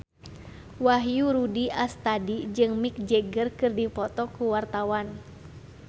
Wahyu Rudi Astadi jeung Mick Jagger keur dipoto ku wartawan